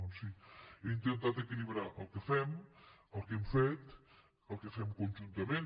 doncs sí he intentat equilibrar el que fem el que hem fet el que fem conjuntament